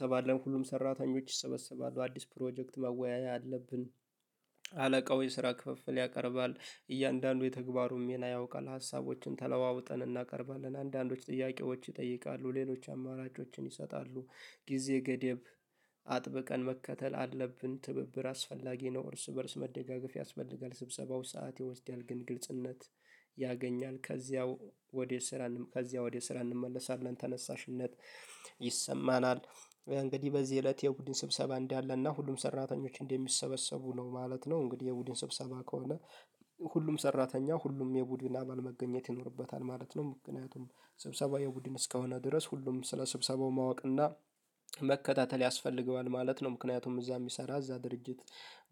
ሰባድ? ለምን ሁሉም ሰራተኞች ይሰበሰባሉ አዲስ ፕሮጀክት መወያያ አለብን። አለቃው የስራ ክፍፍል ያቀርባል እያንዳንዱ የተግባሩን ሚና ያውቃል ሀሳቦችን ተለዋውጠን እናቀርባለን። አንዳንዶች ጥያቄዎች ይጠይቃሉ ሌሎች አማራጮችን ይሰጣሉ። ጊዜ ገደብ አጥብቀን መከተል አለብን። ትብብር አስፈላጊ ነው እርስ በእርስ መደጋገፍ ያስፈልጋል። ስብሰባው ሰዓት ይወስዳል ግን ግልጽነት ያገኛል። ከዚያው ወዴት ስራ ከዚያው ወዴት ስራ እንመለሳለን። ተነሳሽነት ይሰማናል። እንግዲህ በዚህ እለት የቡድን ስብሰባ እንዳለና ሁሉም ሰራተኞች እንዲሰበሰቡ ነው ማለት ነው። እንግዲህ የቡድን ስብሰባ ከሆነ ሁሉም ሰራተኛ ሁሉም የቡድን አባል መገኘት ይኖርበታል ማለት ነው። ምክንያቱም ስብሰባው የቡድን እስከሆነ ድረስ ሁሉም ስለ ስብሰባው ማወቅ እና መከታተል ያስፈልገዋል ማለት ነው። ምክንያቱም እዛ የሚሰራ እዛ ድርጅት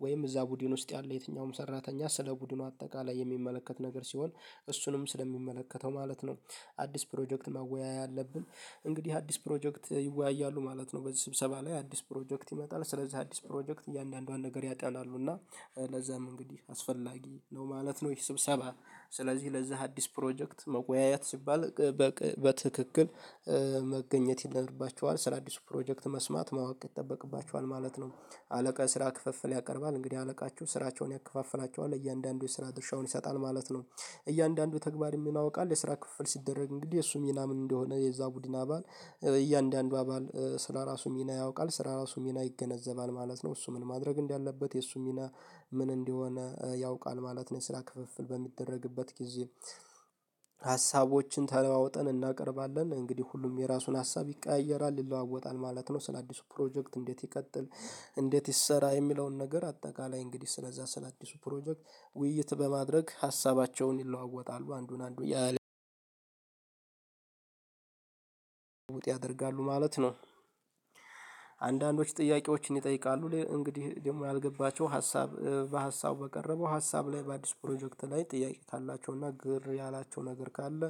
ወይም እዛ ቡድን ውስጥ ያለ የትኛውም ሰራተኛ ስለ ቡድኑ አጠቃላይ የሚመለከት ነገር ሲሆን እሱንም ስለሚመለከተው ማለት ነው። አዲስ ፕሮጀክት መወያያ አለብን። እንግዲህ አዲስ ፕሮጀክት ይወያያሉ ማለት ነው። በዚህ ስብሰባ ላይ አዲስ ፕሮጀክት ይመጣል። ስለዚህ አዲስ ፕሮጀክት እያንዳንዷን ነገር ያጣላሉ እና ለዛም እንግዲህ አስፈላጊ ነው ማለት ነው። ይሄ ስብሰባ ስለዚህ ለዛ አዲስ ፕሮጀክት መወያየት ሲባል በትክክል መገኘት ይኖርባችኋል ስለአዲሱ ፕሮጀክት መስማት ማወቅ ይጠበቅባችኋል ማለት ነው። አለቃ የስራ ክፍፍል ያቀርባል እንግዲህ አለቃችሁ ስራቸውን ያከፋፍላቸዋል እያንዳንዱ የስራ ድርሻውን ይሰጣል ማለት ነው። እያንዳንዱ ተግባር የሚሆን አውቃለሁ የስራ ክፍል ሲደረግ እንግዲህ እሱ ሚና ምን እንደሆነ የዛ ቡድን አባል አባል ስለራሱ ሚና ያውቃል ስለራሱ ሚና ይገነዘባል ማለት ነው። እሱ ምን ማድረግ እንዳለበት የእሱ ሚና ምን እንደሆነ ያውቃል ማለት ነው። ስራ ክፍፍል በሚደረግበት ጊዜ። ሀሳቦችን ተለዋወጠን እናቀርባለን እንግዲህ ሁሉም የራሱን ሀሳብ ይቀያየራል ይለዋወጣል ማለት ነው። ስለአዲሱ ፕሮጀክት እንዴት ይቀጥል? እንዴት ይሰራ የሚለውን ነገር አጠቃላይ እንግዲህ ስለዛ ስለአዲሱ ፕሮጀክት ውይይት በማድረግ ሀሳባቸውን ይለዋወጣሉ አንዱን አንዱን ውጥ ያደርጋሉ ማለት ነው። ጥያቄዎችን ይጠይቃሉ እንግዲህ ደግሞ ያልገባቸው ሀሳብ በሀሳብ በቀረበው ሀሳብ ላይ በአዲስ ፕሮጀክት ላይ ጥያቄት አላቸው እና ግር ያላቸው ነገር ካለ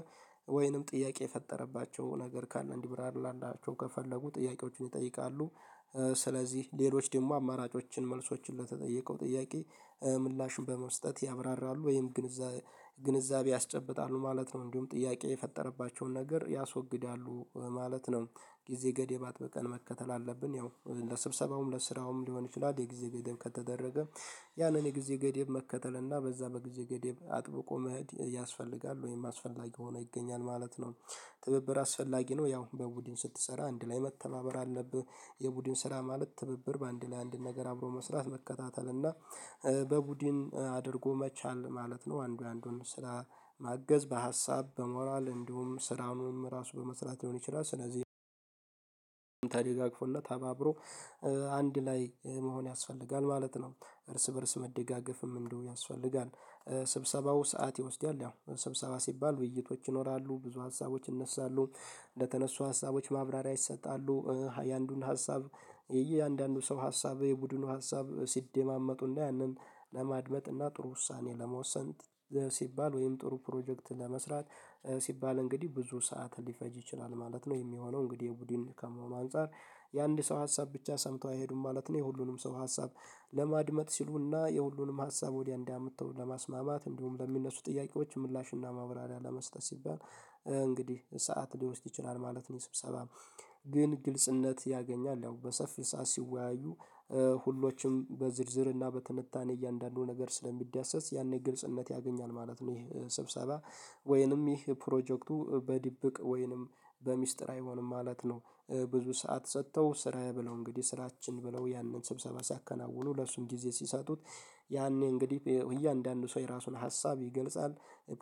ወይንም ጥያቄ የፈጠረባቸው ነገር ካለ እንዲብራራላቸው ከፈለጉ ጥያቄዎችን ይጠይቃሉ። ስለዚህ ሌሎች ደግሞ አማራጮችን መልሶችን ለተጠየቀው ጥያቄ ምላሽን በመስጠት ያብራራሉ ወይም ግንዛቤ ያስጨብጣሉ ማለት ነው። እንዲሁም ጥያቄ የፈጠረባቸውን ነገር ያስወግዳሉ ማለት ነው። ጊዜ ገደባት በቀን መከተል አለብን። ያው ለስብሰባውም ለስራውም ሊሆን ይችላል የጊዜ ገደብ ከተደረገ ያንን የጊዜ ገደብ መከተል እና በዛ በጊዜ ገደብ አጥብቆ መኸድ ያስፈልጋል ወይም አስፈላጊ ሆኖ ይገኛል ማለት ነው። ትብብር አስፈላጊ ነው። ያው በቡድን ስትሰራ አንድ ላይ መተማመር አለብህ። የቡድን ስራ ማለት ትብብር በአንድ ለአንድ ነገር አብሮ መስራት መከታተል እና በቡድን አድርጎ መቻል ማለት ነው። አንዱ ያንዱን ስራ ማገዝ በሀሳብ በሞራል እንዲሁም ስራውንም ራሱ በመስራት ሊሆን ይችላል። ስለዚህ አብሮ አንድ ላይ መሆን ያስፈልጋል ማለት ነው። እርስ በእርስ መደጋገፍም እንደው ያንስፈልጋል። ስብሰባው ሰዓት ይወስዳል ያው ሰብሰባ ሲባል ውይይቶች ይኖራሉ ብዙ ሀሳቦች ይነሳሉ። እንደተነሱ ሀሳቦች ማብራሪያ ይሰጣሉ የአንዱን ሀሳብ የእያንዳንዱ ሰው ሀሳብ የቡድኑ ሀሳብ ሲደማመጡና ያንን ለማድመጥና እና ጥሩ ውሳኔ ለመወሰን ሲባል ወይም ጥሩ ፕሮጀክት ለመስራት ሲባል እንግዲህ ብዙ ሰዓት ሊፈጅ ይችላል ማለት ነው። የሚሆነው እንግዲህ የቡድን ከመሆኑ አንፃር የአንድ ሰው ሀሳብ ብቻ ሰምተው አይሄዱም ማለት ነው። የሁሉንም ሰው ሀሳብ ለማድመጥ ሲሉና የሁሉንም ሀሳብ ወዲያ እንዲያምተው ለማስማማት እንዲሁም ለሚነሱ ጥያቄዎች ምላሽና ማብራሪያ ለመስጠት ሲባል እንግዲህ ሰዓት ሊወስድ ይችላል ማለት ነው። የስብሰባም ግን ግልጽነት ያገኛል ያው በሰፊ ሰዓት ሲወያዩ ሁሎችም በዝርዝርና በትንታኔ እያንዳንዱ ነገር ስለሚዳሰስ ያኔ ግልጽነት ያገኛል ማለት ነው። ይሄ ስብሰባ ወይንም ይህ ፕሮጀክቱ በድብቅ ወይንም በሚስጥር አይሆንም ማለት ነው። ብዙ ሰዓት ሰጥተው ስራዬ ብለው እንግዲህ ስራችን ብለው ያንን ስብሰባ ሲያከናውኑ ለእሱም ጊዜ ሲሰጡት ያኔ እንግዲህ እያንዳንዱ ሰው የራሱን ሀሳብ ይገልጻል።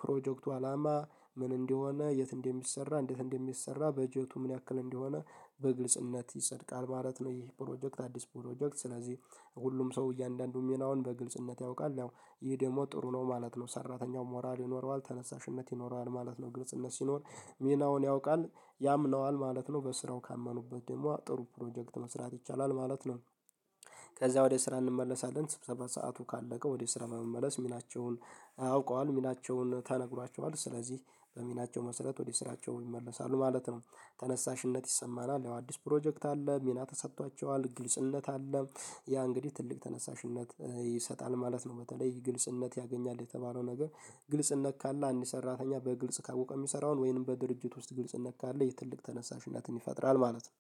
ፕሮጀክቱ አላማ ምን እንደሆነ የት እንደሚሰራ እንዴት እንደሚሰራ በጀቱ ምን ያክል እንደሆነ በግልጽነት ይጸድቃል ማለት ነው። ይህ ፕሮጀክት አዲስ ፕሮጀክት ስለዚህ ሁሉም ሰው እያንዳንዱም የናውን በግልጽነት ያውቃል ያው ይህ ደግሞ ጥሩ ነው ማለት ነው። ሰራተኛው ሞራል ይኖረዋል ተነሳሽነት ይኖረዋል ማለት ነው። ግልጽነት ሲኖር ሚናውን ያውቃል ያምነዋል ማለት ነው። በስራው ካመኑበት ደግሞ ጥሩ ፕሮጀክት መስራት ይቻላል ማለት ነው። ከዛ ወደ ስራ እንመለሳለን። ስብሰባ ሰዓቱ ካለቀ ወደ ስራ መመለስ ሚላቸውን አውቀዋል ሚናቸውን ተነግሯቸዋል ስለዚህ በሚናቸው መሰረት ወደ ስራቸው ይመለሳሉ ማለት ነው። ተነሳሽነት ይሰማናል። ያው አዲስ ፕሮጀክት አለ ሚና ተሰጥቷቸዋል ግልጽነት አለ ያ እንግዲህ ትልቅ ተነሳሽነት ይሰጣል ማለት ነው። በተለይ ግልጽነት ያገኛል የተባለው ነገር ግልጽ እንነካለን አንድ ሰራተኛ በግልጽ ካወቀ የሚሰራውን ወይንም በድርጅት ውስጥ ግልጽ ካለ የትልቅ ተነሳሽነትን ይፈጥራል ማለት ነው።